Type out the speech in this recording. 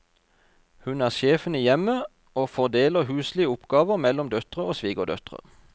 Hun er sjefen i hjemmet, og fordeler huslige oppgaver mellom døtre og svigerdøtre.